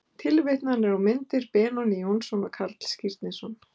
Tilvitnanir og myndir: Benóný Jónsson og Karl Skírnisson.